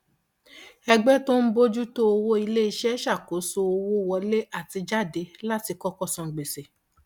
ẹgbẹ tó ń bójú tó owó iléiṣẹ ṣakoso owó wọlé àti jáde láti kọkọ san gbèsè